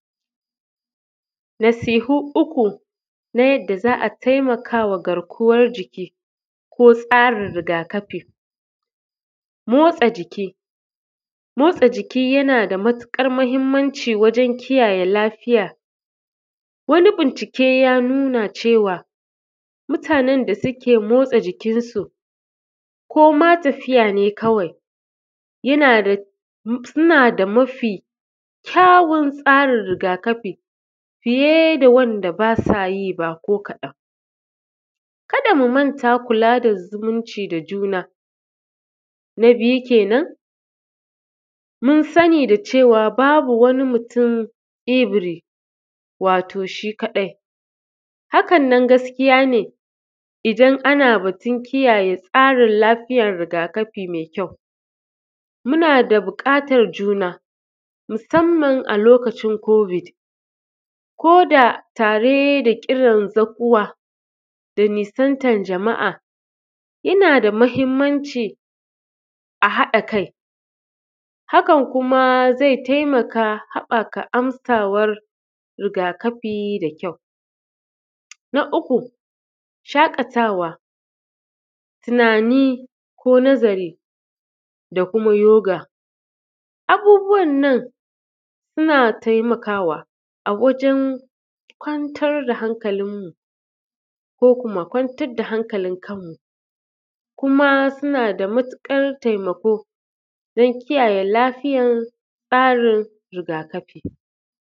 Nasihu uku na yadda za a taimakawa garkuwar jiki, tsarin rigakafi, motsa jiki, motsa jiki yana da matuƙar mahimmanci wajen kiyaye lafiya. Wani bincike ya nuna cewa mutanne da suke motsa jikin su koma tafiya ne kawai yana da mafi kyawun tsarin rigakafi fiye da wanda ba sa yi ba ko kaɗan, ka da mu manta mu rinƙa kula da zumunci da juna na biyu kenan mun sani da cewa babu wani mutum every wato shi kaɗai hakan nan gaskiya ne idan ana batun kiyaye tsarin lafiyar rigakafi mai kyau. Muna da buƙatar juna musamman alokacin kubit koda tare da kiran zaguwa da nisantan jama’a, yana da mahimmanci a haɗa kai hakan kuma zai taimaka habaka amsawar rigakafi da kyau na uku shaƙatawa tunani ko nazari da kuma yoga abubuwan nan suna taimakawa a wajen kwantar da hankalin mu ko kuma kwantar da hankalin kanmu kuma suna da matuƙar taimako dan kiyaye lafiyar tsarin rigakafi.